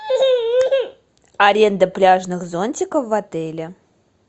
аренда пляжных зонтиков в отеле